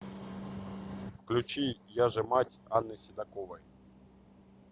включи яжемать анны седоковой